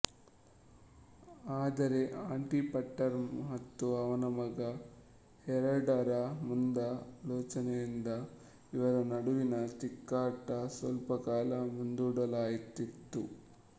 ಆದರೆ Antipater ಮತ್ತು ಅವನ ಮಗ ಹೆರಡರ ಮುಂದಾಲೋಚನೆಯಿಂದ ಇವರ ನಡುವಿನ ತಿಕ್ಕಾಟ ಸ್ವಲ್ಪ ಕಾಲ ಮುಂದೂಡಲ್ಪಟ್ಟಿತು